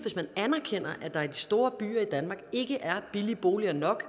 anerkender at der i de store byer i danmark ikke er billige boliger nok